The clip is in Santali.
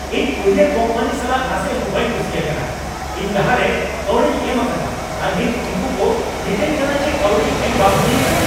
ᱤᱧ ᱠᱩᱨᱤᱭᱟᱨ ᱠᱚᱢᱯᱟᱱᱤ ᱥᱟᱞᱟᱜ ᱱᱟᱥᱮ ᱦᱚᱸ ᱵᱟᱹᱧ ᱠᱩᱥᱤ ᱟᱠᱟᱱᱟ ᱾ ᱤᱧ ᱞᱟᱦᱟ ᱨᱮ ᱠᱟᱹᱣᱰᱤᱧ ᱮᱢ ᱟᱠᱟᱫᱟ, ᱟᱨ ᱱᱤᱛ ᱩᱱᱠᱩ ᱠᱚ ᱢᱤᱛᱟᱹᱧ ᱠᱟᱱᱟ ᱡᱮ ᱠᱟᱹᱣᱰᱤ ᱮᱢ ᱵᱟᱝ ᱦᱩᱭ ᱟᱠᱟᱱᱟ ᱾